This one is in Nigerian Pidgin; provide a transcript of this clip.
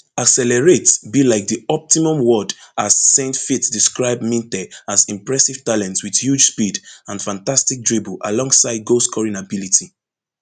accelerate be like di optimum word as saintfiet describe minteh as impressive talent wit huge speed and fantastic dribble alongside goalscoring ability